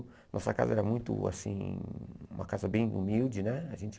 Nossa casa era muito, assim, uma casa bem humilde, né? A gente